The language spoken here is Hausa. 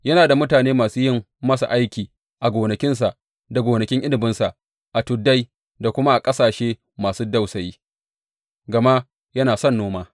Yana da mutane masu yin masa aiki a gonakinsa da gonakin inabinsa a tuddai da kuma a ƙasashe masu dausayi, gama yana son noma.